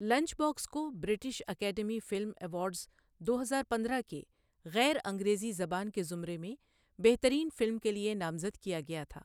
Lunch box کو British Academy film awards دو ہزار پندرہ کے غیر انگریزی زبان کے زمرے میں بہترین فلم کے لیے نامزد کیا گیا تھا۔